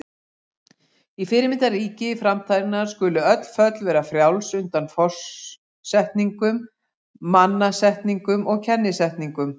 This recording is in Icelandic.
Í fyrirmyndarríki framtíðarinnar skulu öll föll vera frjáls undan forsetningum, mannasetningum og kennisetningum.